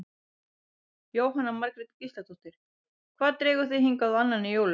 Jóhanna Margrét Gísladóttir: Hvað dregur þig hingað á annan í jólum?